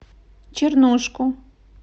чернушку